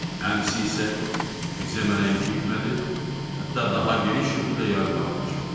Ən pis isə, ekzema nəinki itmədi, hətta daha geniş şəkildə yayılmağa başladı.